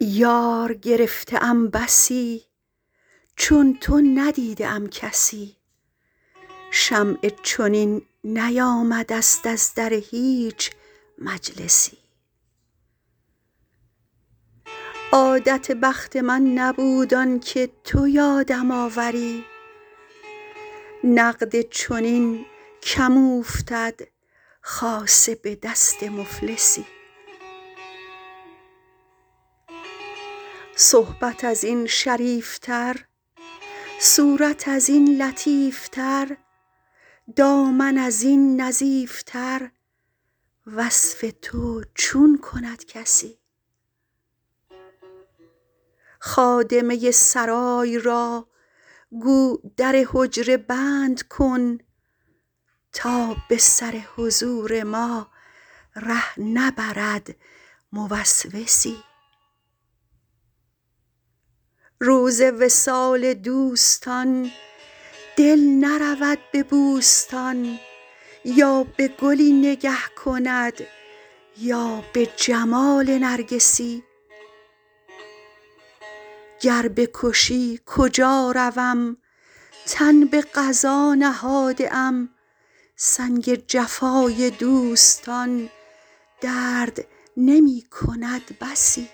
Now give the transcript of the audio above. یار گرفته ام بسی چون تو ندیده ام کسی شمعی چنین نیامده ست از در هیچ مجلسی عادت بخت من نبود آن که تو یادم آوری نقد چنین کم اوفتد خاصه به دست مفلسی صحبت از این شریف تر صورت از این لطیف تر دامن از این نظیف تر وصف تو چون کند کسی خادمه سرای را گو در حجره بند کن تا به سر حضور ما ره نبرد موسوسی روز وصال دوستان دل نرود به بوستان یا به گلی نگه کند یا به جمال نرگسی گر بکشی کجا روم تن به قضا نهاده ام سنگ جفای دوستان درد نمی کند بسی